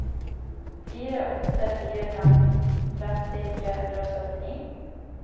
fire åtte fire fem tretti tre hundre og syttini